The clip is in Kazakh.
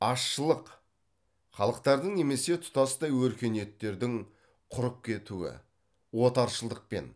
азшылық халықтардың немесе тұтастай өркениеттердің құрып кетуі отаршылдықпен